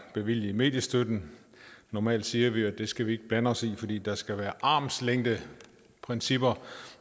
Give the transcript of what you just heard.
bevilger mediestøtten normalt siger vi jo at det skal vi ikke blande os i fordi der skal være armslængdeprincipper